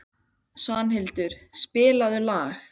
Svanhildur, spilaðu lag.